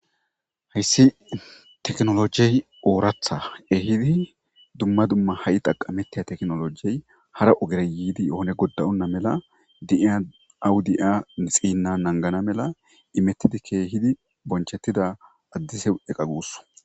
Haysi tekinologiy oratha ehidi dumma dumma ha'i xaqametiza tekinologey hara ogera yidii onne goda'onta mala de'iya awubde'ya nixina Nagana mala kehidi bonchetida adese eqa gusakko.